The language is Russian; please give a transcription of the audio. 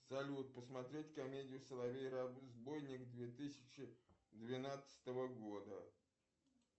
салют посмотреть комедию соловей разбойник две тысячи двенадцатого года